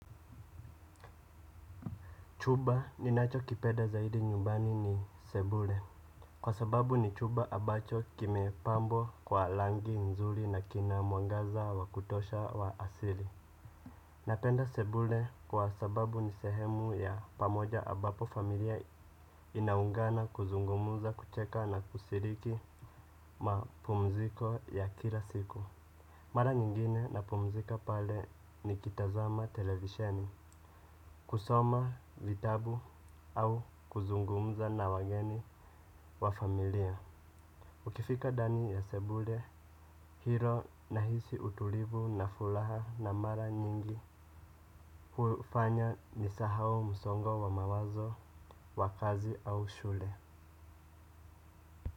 Chumba ninachokipenda zaidi nyumbani ni sebule kwa sababu ni chumba ambacho kimepambwa kwa rangi nzuri na kina mwangaza wa kutosha wa asili. Napenda sebule kwa sababu ni sehemu ya pamoja ambapo familia inaungana kuzungumza kucheka na kushiriki mapumziko ya kila siku. Mara nyingine napumzika pale nikitazama televisheni. Kusoma vitabu au kuzungumza na wageni wa familia. Ukifika ndani ya sebule, hilo nahisi utulivu na furaha na mara nyingi hufanya nisahau msongo wa mawazo wa kazi au shule.